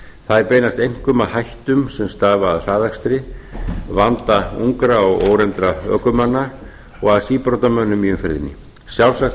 þær beinast einkum að hættum sem stafa af hraðakstri vanda ungra og óreyndra ökumanna og að síbrotamönnum í umferðinni sjálfsagt